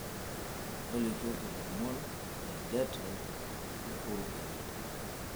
tolikioki ilomon le det oipirta uhuru kenyatta